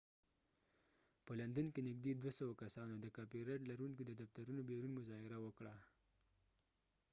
په لندن کې نږدې 200 کسانو د کاپی رایټ لرونکو د دفترونو بیرون مظاهره وکړه